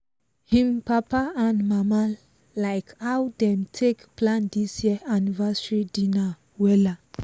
im papa and mama like how dem take plan this year anniversary dinner wella